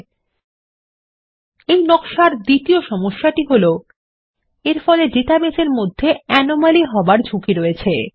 এবং এই নকশার একটি দ্বিতীয় সমস্যা হল এরফলে ডাটাবেসের মধ্যে অ্যানোমালি হবার ঝুঁকি রয়েস